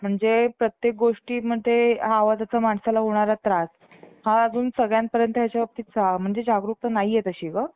ते म्हणाले, मी वर न बघता मन हालवली आणि हातातलं काम